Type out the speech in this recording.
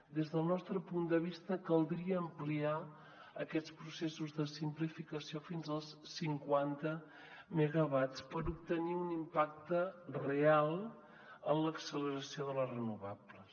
des del nostre punt de vista caldria ampliar aquests processos de simplificació fins als cinquanta megawatts per obtenir un impacte real en l’acceleració de les renovables